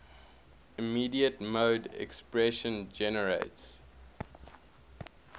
immediate mode expression generates